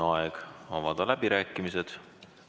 On aeg avada läbirääkimised.